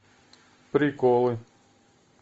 приколы